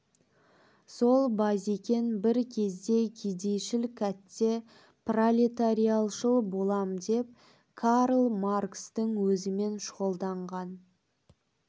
сол базекең бір кезде кедейшіл кәтте пролетариатшыл болам деп карл маркстің өзімен шұғылданған